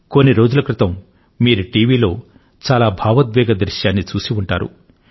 కొన్ని రోజుల క్రితం మీరు టీవీలో చాలా భావోద్వేగ దృశ్యాన్ని చూసి ఉంటారు